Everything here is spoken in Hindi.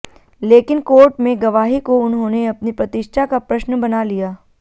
लेकिन कोर्ट में गवाही को उन्होंने अपनी प्रतिष्ठा का प्रश्न बना लिया